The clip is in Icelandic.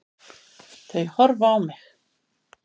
Þau horfa á mig.